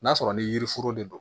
N'a sɔrɔ ni yiri foro de don